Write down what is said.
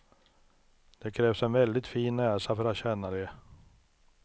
Det krävs en väldigt fin näsa för att känna det.